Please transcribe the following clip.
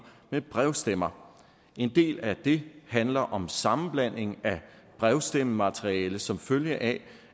med brevstemmer en del af det handler om sammenblanding af brevstemmemateriale som følge af